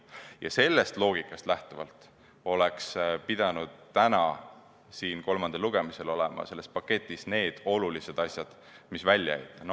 Ja sellest loogikast lähtuvalt, oleks pidanud täna siin kolmandal lugemisel olema selles paketis need olulised asjad, mis välja jäid.